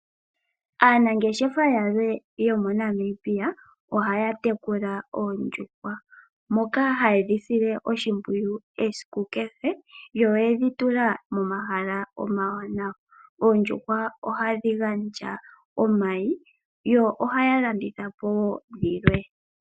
Aanangeshefa yalwe yomoNamibia ohaya tekula oondjuhwa moka haye dhi sile oshimpwiyu esiku kehe yo oye dhi tula momahala omawanawa. Oondjuhwa ohadhi gandja omayi, yo ohay alanditha po wo dhilwe.